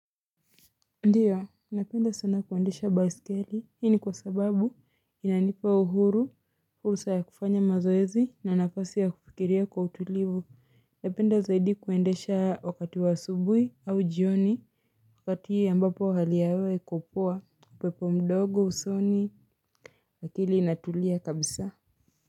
Ndiyo napenda sana kuendesha baiskeli hii ni kwa sababu inanipa uhuru fursa ya kufanya mazoezi na nafasi ya kufikiria kwa utulivu napenda zaidi kuendesha wakati wa asubuhi au jioni. Wakati ambapo hali ya hewa iko poa upepo mdogo usoni akili inatulia kabisa.